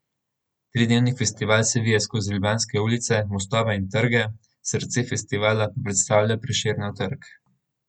Tridnevni festival se vije skozi ljubljanske ulice, mostove in trge, srce festivala pa predstavlja Prešernov trg.